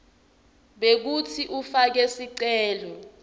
bekutsi ufake sicelo